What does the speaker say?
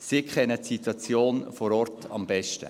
Sie kennen die Situation vor Ort am besten.